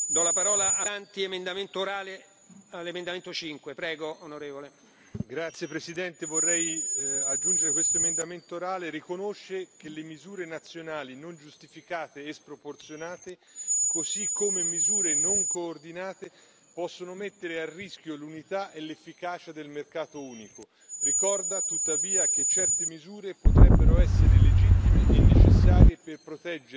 Signor Presidente, onorevoli colleghi, vorrei aggiungere questo emendamento orale riconosce che le misure nazionali non giustificate e sproporzionate, così come misure non coordinate, possono mettere a rischio l'unità e l'efficacia del mercato unico ricorda tuttavia che certe misure potrebbero essere legittime e necessarie per proteggere obiettivi di interesse pubblico, come riconosciuto nei trattati